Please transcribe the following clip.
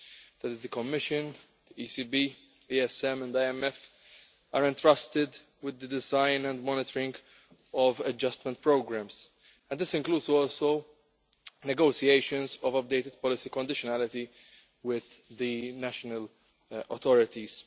that is the Commission, the ECB, the ESM and IMF, are entrusted with the design and monitoring of adjustment programmes. This also includes negotiations of updated policy conditionality with the national authorities.